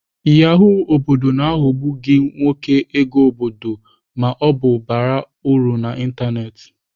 Yahoo obodo na-aghọgbu gị nwoke ego obodo ma ọ bụ bara uru na ịntanetị.